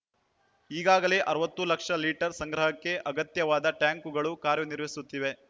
ಈಗಾಗಲೇ ಅರವತ್ತು ಲಕ್ಷ ಲೀಟರ್ ಸಂಗ್ರಹಕ್ಕೆ ಅಗತ್ಯವಾದ ಟ್ಯಾಂಕ್‌ಗಳು ಕಾರ್ಯನಿರ್ವಹಿಸುತ್ತಿವೆ